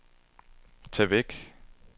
tag væk